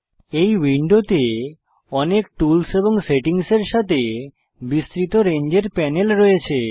এই উইন্ডোতে অনেক টুলস এবং সেটিংসের সাথে বিস্তৃত রেঞ্জের প্যানেল রয়েছে